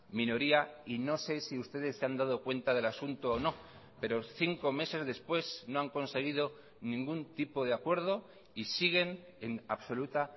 minoría y no sé si ustedes se han dado cuenta del asunto o no pero cinco meses después no han conseguido ningún tipo de acuerdo y siguen en absoluta